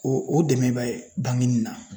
O o dɛmɛ bɛ bankenin na.